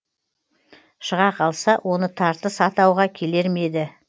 шыға қалса оны тартыс атауға келер ме еді